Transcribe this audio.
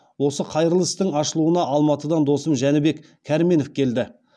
осы қайырлы істің ашылуына алматыдан досым жәнібек кәрменов келді